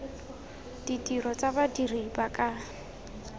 ditiro tsa badiri ba ka